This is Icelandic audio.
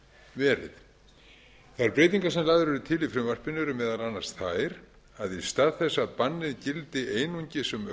verið þær breytingar sem lagðar eru til í frumvarpinu erum meðal annars þær að í stað þess að bannið gildi einungis um